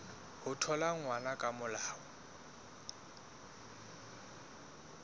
ho thola ngwana ka molao